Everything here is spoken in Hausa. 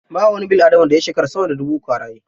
Ba wani bil'adama da ya shekara sama da dubu uku a raye.